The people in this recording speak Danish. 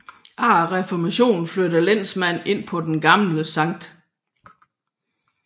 Efter reformationen flyttede lensmanden ind på det gamle Skt